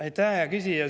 Aitäh, hea küsija!